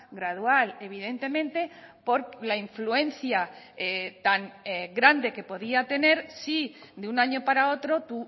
gradual evidentemente por la influencia tan grande que podía tener si de un año para otro tu